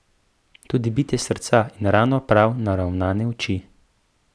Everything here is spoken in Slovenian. Tudi bitje srca in ravno prav naravnane oči.